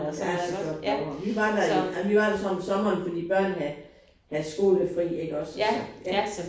Der er så flot derovre. Vi var der i ja vi var der så om sommeren fordi børnene havde havde skolefri ikke også så ja